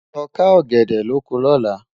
ló ká ògèdè lọkọ lọ̀lá